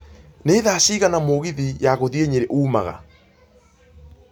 nĩ thaa cigana mũgithi ya gũthiĩ nyeri ũmaga